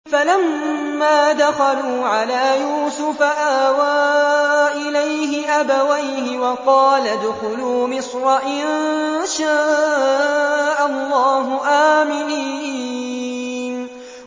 فَلَمَّا دَخَلُوا عَلَىٰ يُوسُفَ آوَىٰ إِلَيْهِ أَبَوَيْهِ وَقَالَ ادْخُلُوا مِصْرَ إِن شَاءَ اللَّهُ آمِنِينَ